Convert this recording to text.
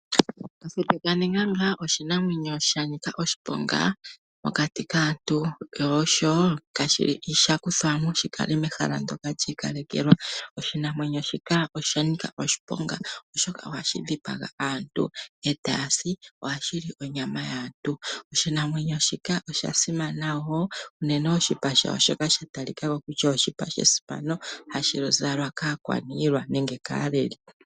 Kafute kaNeganga oshinamwenyo sha nika oshiponga mokati kaantu, sho osho osha kuthwa mo shi kale mehala li ikalekelwa. Oshinamwenyo shika osha nika oshiponga, oshoka ohashi dhipaga aantu, ohashi li onyama yaantu. Oshinamwenyo shika osha simana wo, unene oshipa shasho osha talika ko kutya oshipa shesimano hashi zalwa kaakwaniilwa nenge kaaleli.